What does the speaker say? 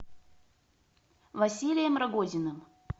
василием рогозиным